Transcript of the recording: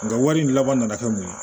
Nga wari in laban nana kɛ mun ye